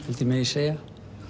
held ég megi segja